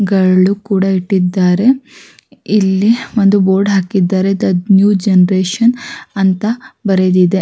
ಗಳು ಕೂಡ ಇಟ್ಟಿದ್ದಾರೆ ಇಲ್ಲಿ ಒಂದು ಬೋರ್ಡ್ ಹಾಕಿದ್ದಾರೆ ನ್ಯೂ ಜನರೇಶನ್ಅಂತ ಬರೆದಿದೆ.